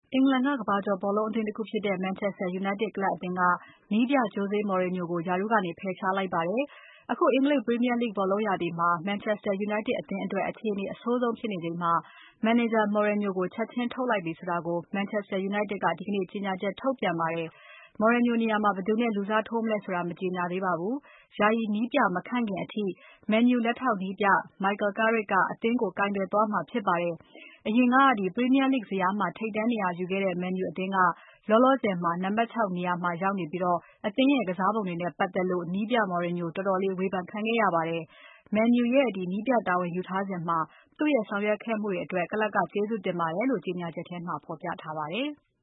အင်္ဂလန်က ကမ္ဘာကျော်ဘောလုံးအသင်းတခုဖြစ်တဲ့ Manchester United ကလပ်အသင်းနည်းပြ Jose Mourinho ကို ရာထူးကနေ ဖယ်ရှားလိုက်ပါတယ်။ အခု အင်္ဂလိပ် Premier League ဘောလုံးရာသီမှာ Manchester United အသင်း အတော်လေး အခြေအနေမကောင်း ဖြစ်နေချိန်မှာ မန်နေဂျာ Mourinho ကို ချက်ချင်းထုတ်လိုက်ပြီဆိုတာ Manchester United ကဒီကနေ့ ကြေညာချက်ထုတ်ပြန်အတည်ပြုပါတယ်။ Mourinho နေရာမှာ ဘယ်သူနဲ့ လူစားထိုးမလဲဆိုတာကို မကြေညာသေးပါဘူး။ ယာယီနည်းပြမခန့်ခင်အထိ မန်ယူ လက်ထောက်နည်းပြ Michael Carrick က အသင်းကို ကိုင်တွယ်သွားမှာဖြစ်ပါတယ်။ အရင်က ပရီးမီးယားလိဂ် ဇယားမှာ ထိပ်တန်းနေရာယူခဲ့တဲ့မန်ယူ အသင်းက လောလောဆယ် နံပါတ် ၆ နေရာမှာ ရောက်နေပြီး အသင်းရဲ့ ကစားပုံတွေနဲ့ပတ်သက်လို့ နည်းပြ Mourinho တော်တော်လေးဝေဖန်ခံခဲ့ရပါတယ်။ မန်ယူရဲ့ နည်းပြတာဝန်ယူထားစဉ် သူ့ရဲ့ဆောင်ရွက်ခဲ့မှုတွေအတွက် ကလပ်က ကျေးဇူးတင်ပါတယ်လို့ ကြေညာချက်မှာ ဖော်ပြထားပါတယ်။